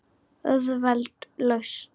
Auðveld lausn.